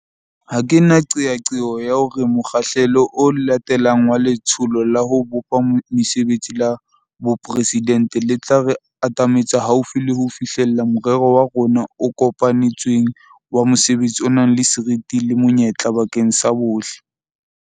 Ha ke na qeaqeo ya hore mokgahlelo o latelang wa Letsholo la ho Bopa Mesebetsi la Boporesidente le tla re atametsa haufi le ho fihlella morero wa rona o kopane tsweng wa mosebetsi o nang le seriti le monyetla bakeng sa bohle.